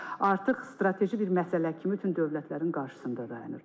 artıq strateji bir məsələ kimi bütün dövlətlərin qarşısında dayanır.